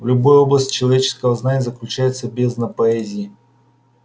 в любой области человеческого знания заключается бездна поэзии